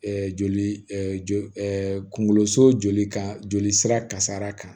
joli joli kungolo so joli kan joli sira kasara kan